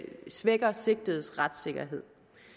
svækker sigtedes retssikkerhed